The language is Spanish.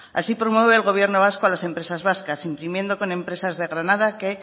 así promueve el gobierno vasco a las empresas vascas imprimiendo con empresas de granada que